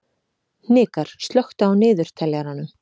Hnikarr, slökktu á niðurteljaranum.